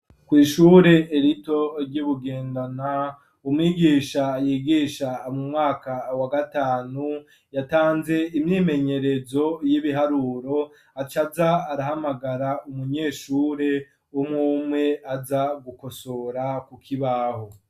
Kwishuri rito ryi Bugendana, umwigisha yigisha mu mwaka wa gatanu yatanze imyimenyerezo y'ibiharuro acaja arahamagara umunyeshuri umwe umwe aja gukosora ku kibaho.